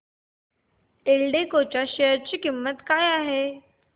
एल्डेको च्या शेअर ची किंमत काय आहे